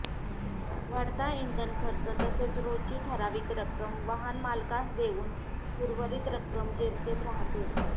वाढता इंधन खर्च तसेच रोजची ठराविक रक्कम वाहनमालकास देऊन उर्वरित रक्कम जेमतेम राहते